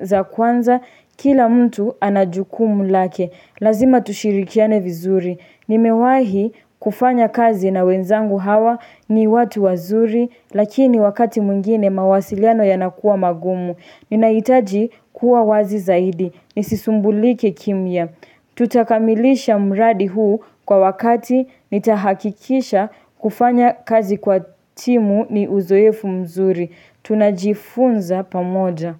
za kwanza. Kila mtu anajukumu lake. Lazima tushirikiane vizuri, nimewahi kufanya kazi na wenzangu hawa ni watu wazuri, lakini wakati mwingine mawasiliano yanakuwa magumu. Ninahitaji kuwa wazi zaidi, nisisumbulike kimya. Tutakamilisha mradi huu kwa wakati nitahakikisha kufanya kazi kwa timu ni uzoefu mzuri. Tunajifunza pamoja.